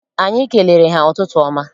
Anyị kelere ha ụtụtụ ọma.